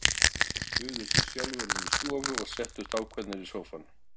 Örn og Sigurbjörn buðu sér sjálfir inn í stofu og settust ákveðnir í sófann.